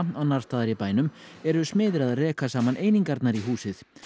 annars staðar í bænum eru smiðir að reka saman einingarnar í húsið